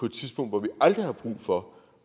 et tidspunkt hvor vi aldrig har brug for